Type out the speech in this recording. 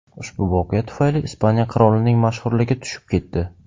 Ushbu voqea tufayli Ispaniya qirolining mashhurligi tushib ketdi.